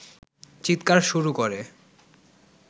চিৎকার শুরু করে